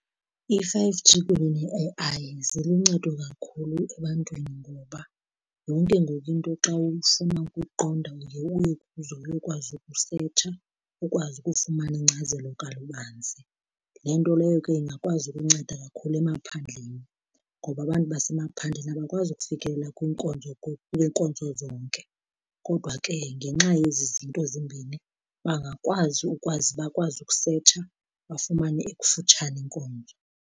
I-five G kunye ne-A_I ziluncedo kakhulu ebantwini ngoba yonke ngoku into xa ufuna ukuyiqonda uye uye kuzo uyokwazi ukusetsha ukwazi ukufumana ingcazelo kalubanzi. Le nto leyo ke ingakwazi ukunceda kakhulu emaphandleni ngoba abantu basemaphandleni abakwazi ukufikelela kwiinkonzo zonke kodwa ke ngenxa yezi zinto zimbini bangakwazi ukwazi bakwazi ukusetsha bafumane ekufutshane inkonzo.